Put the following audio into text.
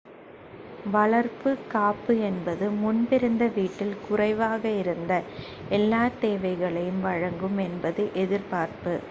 வளர்ப்பு காப்பு என்பது முன்பிருந்த வீட்டில் குறைவாக இருந்த எல்லாத் தேவைகளையும் வழங்கும் என்பது எதிர்பார்ப்பு